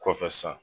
Kɔfɛ sisan